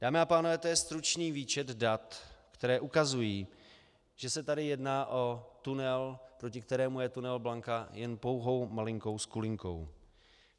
Dámy a pánové, to je stručný výčet dat, která ukazují, že se tady jedná o tunel, proti kterému je tunel Blanka jen pouhou malinkou skulinkou.